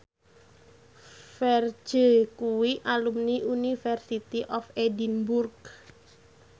Ferdge kuwi alumni University of Edinburgh